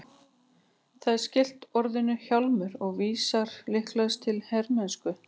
Það er skylt orðinu hjálmur og vísar líklegast til hermennsku.